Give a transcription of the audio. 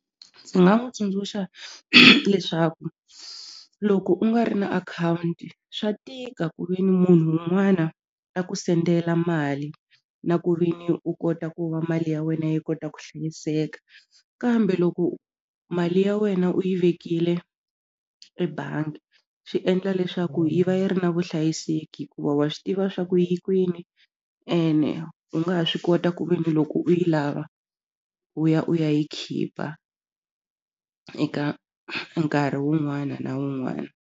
Ndzi nga n'wi tsundzuxa leswaku loko u nga ri na akhawunti swa tika ku veni munhu un'wana a ku sendela mali na ku ve ni u kota ku va mali ya wena yi kota ku hlayiseka kambe loko mali ya wena u yi vekile ebangi swi endla leswaku yi va yi ri na vuhlayiseki hikuva wa swi tiva swa ku yi kwini ene u nga ha swi kota ku ve ni loko u yi lava u ya u ya yi khipha eka nkarhi wun'wana na wun'wana.